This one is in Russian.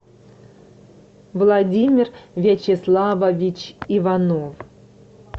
владимир вячеславович иванов